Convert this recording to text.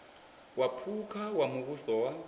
wa phukha wa muvhuso wa